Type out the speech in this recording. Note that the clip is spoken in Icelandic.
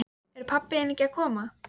Er pabbi þinn ekki að koma?